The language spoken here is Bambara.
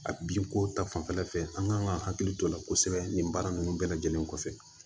A bin ko ta fanfɛla fɛ an kan ka hakili to a la kosɛbɛ nin baara ninnu bɛɛ lajɛlen kɔfɛ